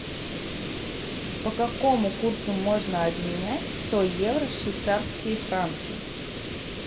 по какому курсу можно обменять сто евро в швейцарские франки